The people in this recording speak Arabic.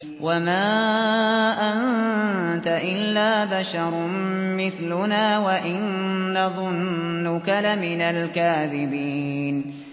وَمَا أَنتَ إِلَّا بَشَرٌ مِّثْلُنَا وَإِن نَّظُنُّكَ لَمِنَ الْكَاذِبِينَ